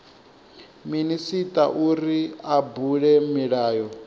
minisita uri a bule milayo